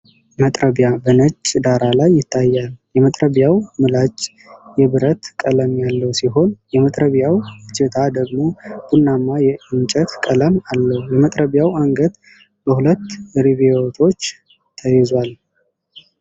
መጥረቢያ በነጭ ዳራ ላይ ይታያል። የመጥረቢያው ምላጭ የብረት ቀለም ያለው ሲሆን፣ የመጥረቢያው እጀታ ደግሞ ቡናማ የእንጨት ቀለም አለው። የመጥረቢያው አንገት በሁለት ሪቬቶች ተይዟል።